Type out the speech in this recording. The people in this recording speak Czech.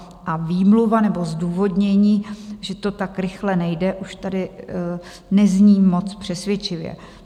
A výmluva nebo zdůvodnění, že to tak rychle nejde, už tady nezní moc přesvědčivě.